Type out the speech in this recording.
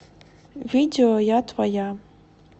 видео я твоя